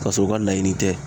Kasɔrɔ u ka laɲini tɛ